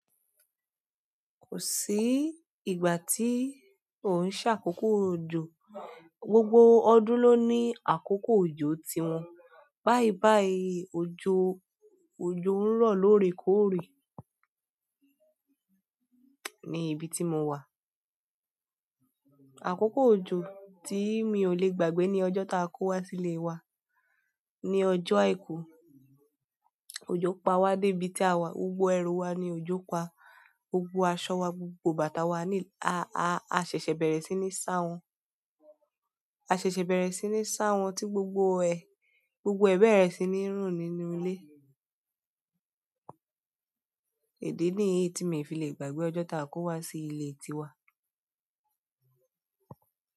Kò sí ìgbà tí kò ń ṣe àkókò òjò, gbogbo ọdún lo ni àkoko òjò tí wọn bayii bayii òjò, òjò ń rọ lóòrèkóòrè ní ibi tí mo wà. Àkókò òjò tí mi ò lè gbàgbé ni ọjọ́ ta kò wá sí ìle wa, ni ọjọ́ àìkú. Òjò pa wá dé ibi tí a wà, gbogbo ẹru wa ni òjò pa. Gbogbo aṣọ wa, gbogbo bàtà wa ní, a, a, a ṣẹ̀ṣẹ̀ bẹ̀rẹ̀ sí ní sa wọn. A ṣẹ̀ṣẹ̀ bẹ̀rẹ̀ sí ní sá wọn tí gbogbo ẹ, gbogbo ẹbẹ̀rẹ̀ẹṣin ní ń rùn nínú ilé. Ìdí ni èyí tí mi fi lè gbàgbé ọjọ́ ta a kó wá sí ilé tí wa.